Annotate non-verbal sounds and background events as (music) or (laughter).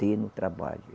(unintelligible) trabalho.